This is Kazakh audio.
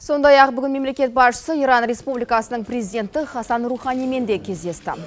сондай ақ бүгін мемлекет басшысы иран республикасының президенті хасан руханимен де кездесті